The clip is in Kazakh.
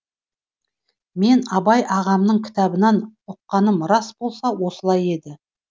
мен абай ағамның кітабынан ұққаным рас болса осылай еді